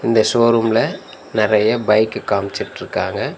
இந்த ஷோரூம்ல நெறைய பைக்கு காம்ச்சிட்ருக்காங்க